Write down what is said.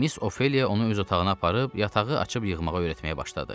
Miss Ofeliya onu öz otağına aparıb yatağı açıb yığmağa öyrətməyə başladı.